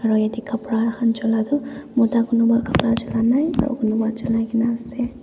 Aro yateh kapra khan chula tuh mota kunba kapra chulanai aro kunuba chulaikena ase.